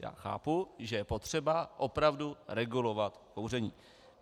Já chápu, že je potřeba opravdu regulovat kouření.